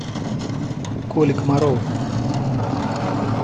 коли комарова